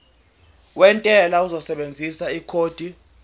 wentela uzosebenzisa ikhodi